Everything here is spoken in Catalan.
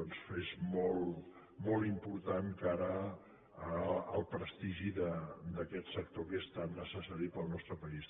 és molt important cara al prestigi d’aquest sector que és tan necessari per al nostre país